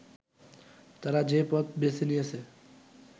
তারা যে পথ বেছে নিয়েছে